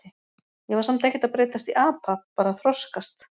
Ég var samt ekkert að breytast í apa, bara að þroskast.